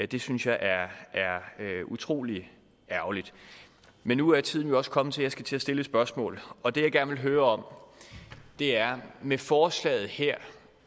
det synes jeg er utrolig ærgerligt men nu er tiden jo også kommet til at jeg skal til at stille et spørgsmål og det jeg gerne vil høre om er om med forslaget her